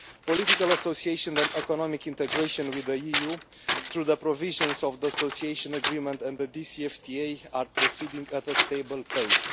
Political association and economic integration with the EU through the provisions of the Association Agreement and the DCFTA are proceeding at a stable pace.